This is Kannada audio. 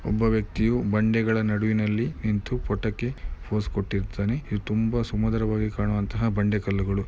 ಒಬ್ಬ ವ್ಯಕ್ತಿಯು ಬಂಡೆಗಳ ನಡುವಿನಲ್ಲಿ ನಿಂತು ಫೊಟೋಕೆ ಪೋಸ್ ಕೊಟ್ಟಿದ್ದಾನೆ ಇದು ತುಂಬಾ ಸುಮಧುರವಾಗಿ ಕಾಣುವಂತಹ ಬಂಡೆ ಕಲ್ಲುಗಳು.